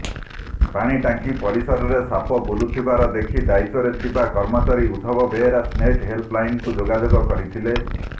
ପାଣିଟାଙ୍କି ପରିସରରେ ସାପ ବୁଲୁଥିବା ଦେଖି ଦାୟିତ୍ବରେ ଥିବା କର୍ମଚାରୀ ଉଦ୍ଧବ ବେହେରା ସ୍ନେକ ହେଲ୍ପଲାଇନକୁ ଯୋଗାଯୋଗ କରିଥିଲେ